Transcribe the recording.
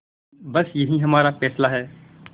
बस यही हमारा फैसला है